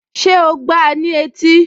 Ṣé o gbáa ní etí?